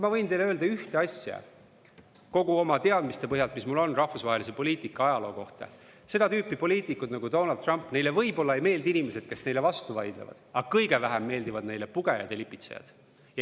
Ma võin teile öelda ühte asja, kogu oma teadmiste põhjal, mis mul on rahvusvahelise poliitika ajaloo kohta: seda tüüpi poliitikutele nagu Donald Trump võib-olla ei meeldi inimesed, kes neile vastu vaidlevad, aga kõige vähem meeldivad neile pugejad ja lipitsejad.